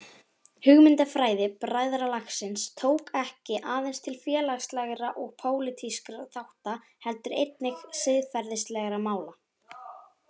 Hugmyndafræði bræðralagsins tók ekki aðeins til félagslegra og pólitískra þátta heldur einnig til siðferðislegra mála.